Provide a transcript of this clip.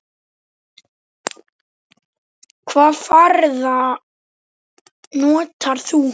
Hvaða farða notar þú?